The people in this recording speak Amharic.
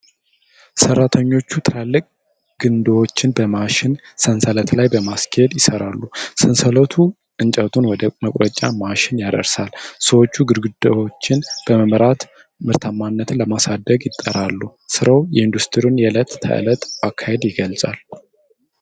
ሠራተኞች ትላልቅ ግንድዎችን በማሽን ሰንሰለት ላይ ለማስኬድ ይሠራሉ። ሰንሰለቱ እንጨቱን ወደ መቁረጫ ማሺን ያደርሳል። ሰዎቹ ግንድዎቹን በመምራት ምርታማነትን ለማሳደግ ይጣጣራሉ ። ሥራው የኢንዱስትሪውን የዕለት ተዕለት አካሄድ ይገልጻል።